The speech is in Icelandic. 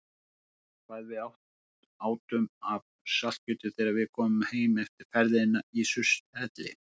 Mundu hvað við átum af saltkjöti þegar við komum heim eftir ferðina í Surtshelli.